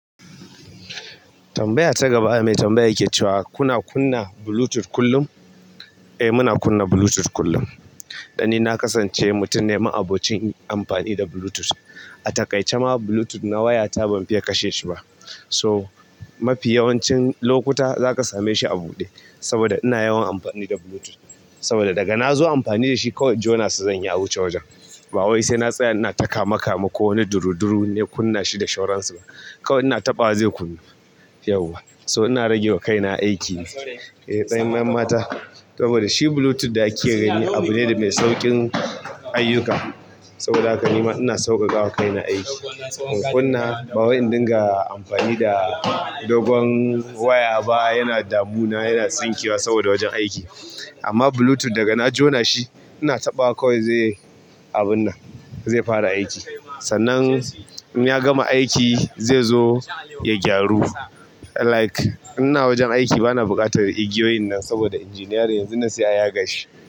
Tambaya ta gaba mai tambaya yake cewa kuna kunna Bluetooth kullum? Eh muna kunna Bluetooth kullum. Dan ni na kasance mutum ne ma'abocin amfani da Bluetooth. A taƙaice ma Bluetooth na wayata ban fiya kashe shi ba. So mafi yawancin lokuta zaka same shi a buɗe saboda ina yawan amfani da Bluetooth. Saboda daga na zo amfani da shi kawai jona sa zanyi a wuce wajen. Ba wai sai na tsaya ina ta kamekame ko wani duruduru na kunna shi da shauransa ba. Kawai ina taɓawa zai kunnu. Yauwa. So ina rage wa kaina aiki ne. Eh tsayayyen mata saboda shi Bluetooth da ake gani abu ne da mai sauƙin ayyuka. Saboda haka nima ina sauƙaƙa wa kaina aiki. In kunna ba wai in dinga amfani da dogon waya ba yana damu na yana tsinkewa saboda wajen aiki. Amma Bluetooth daga na jona shi ina taɓawa kawai zai yi abun nan zai fara aiki. Sannan in ya gama aiki zai zo ya gyaru. Like ina wajen aiki bana buƙatar igiyoyin nan saboda engineering yanzu nan sai a yaga shi.